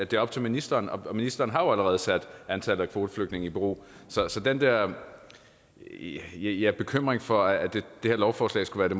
det er op til ministeren og ministeren har jo allerede sat antallet af kvoteflygtninge i bero så så den der ja ja bekymring for at det her lovforslag skulle